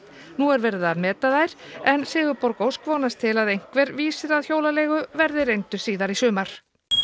nú er verið að meta þær Sigurborg Ósk vonast til að einhver vísir að hjólaleigu verði reyndur síðar í sumar